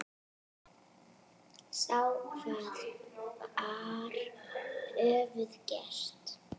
Sá hvað þær höfðu gert.